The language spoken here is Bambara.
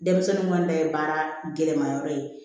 Denmisɛnninw ka na ye baara gɛlɛma yɔrɔ ye